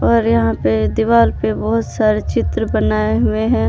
और यहां पे दीवार पे बहुत सारे चित्र बनाए हुए हैं।